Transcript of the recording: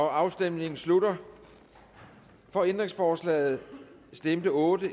afstemningen slutter for ændringsforslaget stemte otte